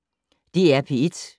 DR P1